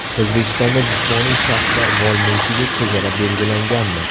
O‘zbekistonda jismoniy shaxslar mol-mulkiga chegara belgilanganmi?